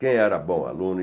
Quem era bom aluno e